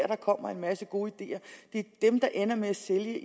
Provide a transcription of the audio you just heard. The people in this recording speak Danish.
der kommer en masse gode ideer det er dem der ender med at sælge